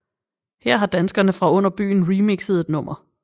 Her har danskerne fra Under Byen remixet et nummer